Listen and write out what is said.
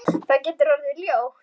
Það getur orðið ljótt.